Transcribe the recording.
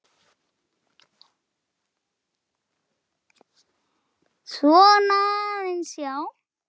Góður slurkur eftir.